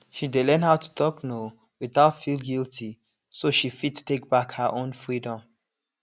she dey learn how to talk no without feel guilty so she fit take back her own freedom